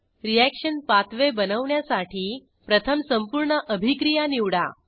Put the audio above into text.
reaction pathway बनवण्यासाठी प्रथम संपूर्ण अभिक्रिया निवडा